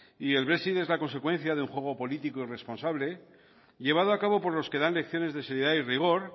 y el brexit es la consecuencia de un juego político irresponsable llevado a cabo por los que dan lecciones de seriedad y rigor